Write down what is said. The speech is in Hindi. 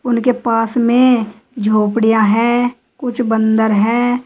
उनके पास में झोपड़ियां है कुछ बंदर है।